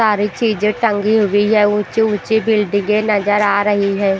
सारी चीजे टंगी हुई है ऊँची-ऊँची बिल्डिंगे नजर आ रही है।